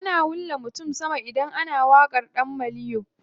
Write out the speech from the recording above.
Ana wulla mutum sama idan ana waƙar ɗan maliyo.